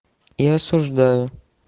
и осуждаю